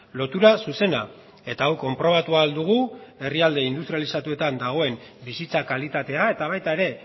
lotura zuzena eta hau konprobatu ahal dugu herrialde industrializatuetan dagoen bizitza kalitatea eta baita ere